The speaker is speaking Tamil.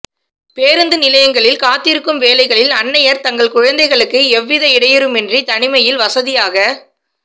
பேருந்து நிலையங்களில் காத்திருக்கும் வேளைகளில் அன்னையர் தங்கள் குழந்தைகளுக்கு எவ்வித இடையூறுமின்றி தனிமையில் வசதியாக